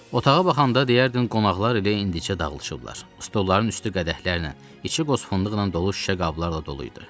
Otağa baxanda deyərdin qonaqlar elə indicə dağılışıblar, stollların üstü qədəhlərlə, içi qoz fındıqla dolu şüşə qablarla dolu idi.